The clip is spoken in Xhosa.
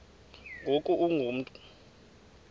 ngoku ungu mntu